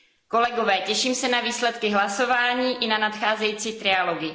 Kolegové, těším se na výsledky hlasování i na nadcházející trialogy.